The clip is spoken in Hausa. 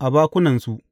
a bakunansu.